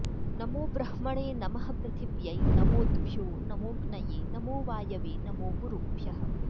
नमो ब्रह्मणे नमः पृथिव्यै नमोऽद्भ्यो नमोऽग्नये नमो वायवे नमो गुरुभ्यः